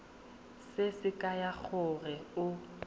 se se kaya gore o